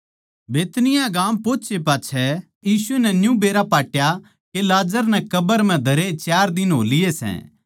बैतनिय्याह गाम पोहोचे पाच्छै यीशु नै न्यू बेरया पाट्या के लाजर नै कब्र म्ह धरे चार दिन हो लिए सै